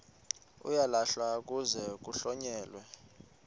uyalahlwa kuze kuhlonyelwe